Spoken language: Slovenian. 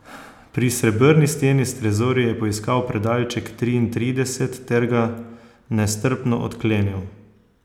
Pri srebrni steni s trezorji je poiskal predalček triintrideset ter ga nestrpno odklenil.